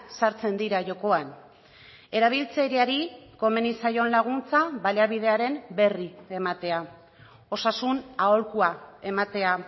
sartzen dira jokoan erabiltzaileari komeni zaion laguntza baliabidearen berri ematea osasun aholkua ematea